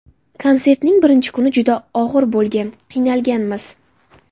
Konsertning birinchi kuni juda og‘ir bo‘lgan, qiynalganmiz.